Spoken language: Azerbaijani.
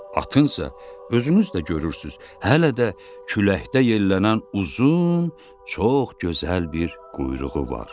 Atınsa, özünüz də görürsüz, hələ də küləkdə yellənən uzun, çox gözəl bir quyruğu var.